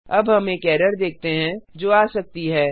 अब हम एक एरर देखते हैं जो आ सकती है